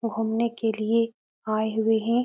घूमने के लिए आये हुए हैं।